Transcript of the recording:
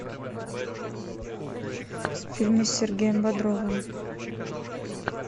фильмы с сергеем бодровым